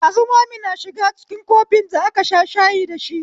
Shazumami yashiga cikin kofin da aka sha shayi dashi